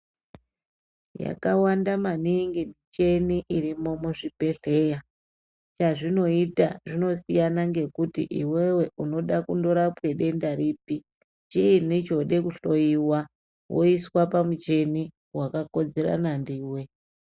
Yakawanda maningi michini irimo muzvibhehleya chazvinoita zvinosiyana ngekuti iwewe unoda kundorapwa denda ripi chiini chode kuhloyiwa woiswa pamuchini wakakodzerana ndiwe.